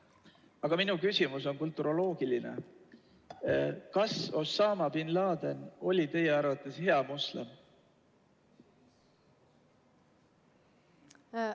Aga minu küsimus on kulturoloogiline: kas Osama bin Laden oli teie arvates hea moslem?